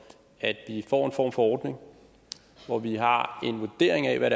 at vi får en form for ordning hvor vi har en vurdering af hvad